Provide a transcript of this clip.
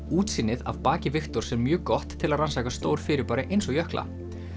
útsýnið af baki Viktors er mjög gott til að rannsaka stór fyrirbæri eins og jökla